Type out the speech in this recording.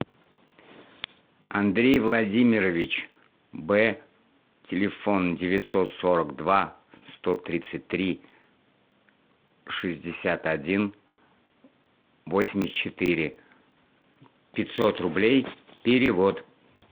андрей владимирович б телефон девятьсот сорок два сто тридцать три шестьдесят один восемьдесят четыре пятьсот рублей перевод